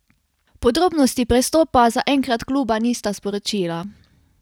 Podrobnosti prestopa zaenkrat kluba nista sporočila.